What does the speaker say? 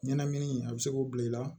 Ɲɛnɛmini a bɛ se k'o bila i la